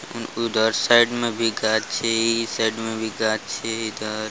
उधर साइड में भी गाछी ई साइड में भी गाछी इधर --